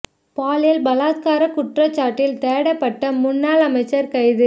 பாலியல் பலாத்கார குற்றச்சாட்டில் தேடப்பட்ட முன்னாள் அமைச்சர் கைது